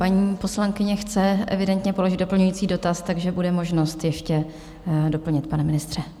Paní poslankyně chce evidentně položit doplňující dotaz, takže bude možnost ještě doplnit, pane ministře.